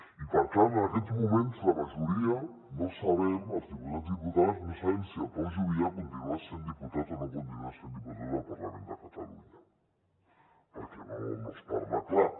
i per tant en aquests moments la majoria no sabem els diputats i diputades no sabem si el pau juvillà continuarà sent diputat o no continuarà sent diputat al parlament de catalunya perquè no es parla clar